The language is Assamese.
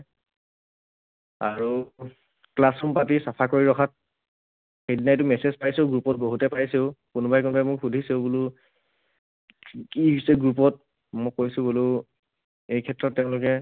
আৰু Classroom পাতি চফা কৰি ৰখাত, সেইদিনাতো message পাইছো group ত, বহুতে পাইছেও, কোনোবাই কোনোবাই মোক সুধিছেও বোলো কি হৈছে group ত? মই কৈছোঁ বোলো এইক্ষেত্ৰত তেওঁলোকে